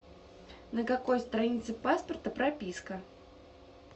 на какой странице паспорта прописка